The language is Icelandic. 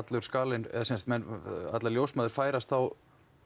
allur skalinn eða sem sagt að ljósmæður færast þá